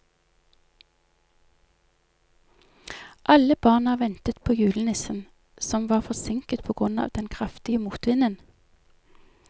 Alle barna ventet på julenissen, som var forsinket på grunn av den kraftige motvinden.